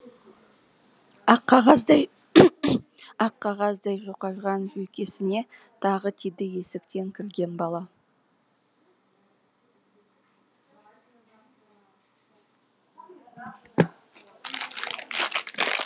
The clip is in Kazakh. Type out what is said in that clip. ақ қағаздай жұқарған жүйкесіне тағы тиді есіктен кірген бала